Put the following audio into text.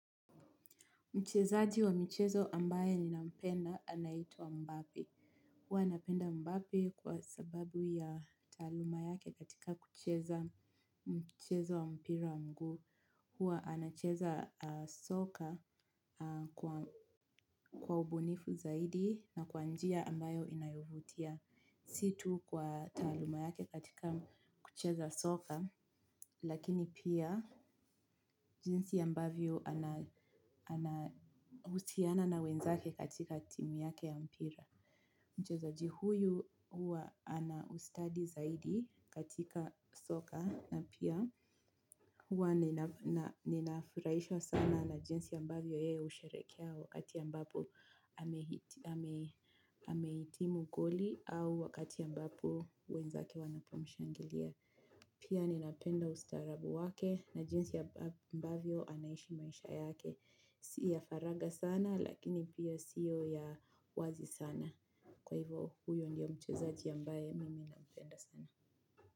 Mchezaji wa mchezo ambaye ninapenda anaitwa Mbappe. Huwa napenda mbappe kwa sababu ya taaluma yake katika kucheza mchezo wa mpira wa mguu. Huwa anacheza soka kwa ubunifu zaidi na kwa njia ambayo inayovutia. Si tu kwa taaluma yake katika kucheza soka lakini pia jinsi ambavyo anahusiana na wenzake katika timu yake ya mpira. Mchezaji huyu huwa ana ustadi zaidi katika soka na pia huwa ninafurahishwa sana na jinsi ambavyo ye husherekea wakati ambapo amehitimu goli au wakati ambapo wenzake wanapomshangilia. Pia ninapenda ustaarabu wake na jinsi ambavyo anaishi maisha yake. Si ya faraga sana lakini pia siyo ya wazi sana. Kwa hivo huyo ndio mchezaji ambaye mimi napenda sana.